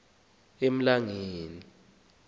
emlangeni